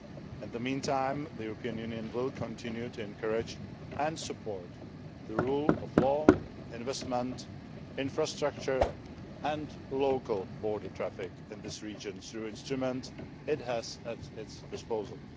In the meantime, the European Union will continue to encourage and support the rule of law, investment infrastructure and local border traffic in this region through the instruments it has at its disposal.